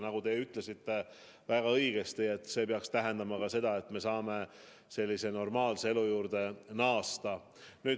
Nagu te ütlesite väga õigesti, see peaks tähendama seda, et me saame normaalse elu juurde naasta.